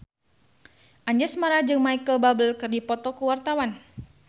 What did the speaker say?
Anjasmara jeung Micheal Bubble keur dipoto ku wartawan